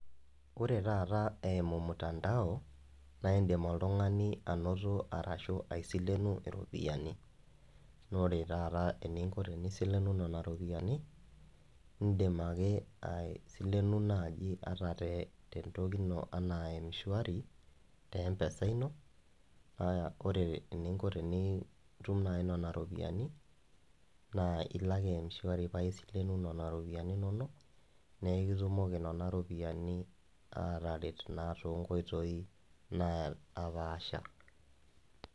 Ore taata eimu mutandao naindim oltungani ainoto ashu aisileno ropiyiani, na ore taata teninko tenisilenu nona ropiyani na indim ake aisilenu nai ata tentoki ino ana e mshawari te empesa ino ,ore teninko tenitum nona ropiyiani na ilo ake mshwari pa isilenu nona ropiyani naekitumoki nona ropiyani ataret na tonkoitoi napaasha.